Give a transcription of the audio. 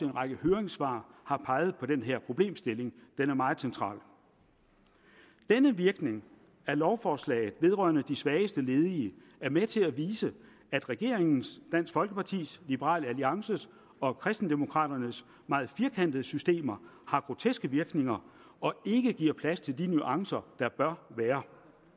række høringssvar har peget på den her problemstilling den er meget central denne virkning af lovforslaget vedrørende de svageste ledige er med til at vise at regeringens dansk folkepartis liberal alliances og kristendemokraternes meget firkantede systemer har groteske virkninger og ikke giver plads til de nuancer der bør være